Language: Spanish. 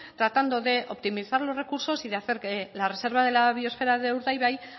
tratando de optimizar los recursos y hacer que la reserva de la biosfera de urdaibai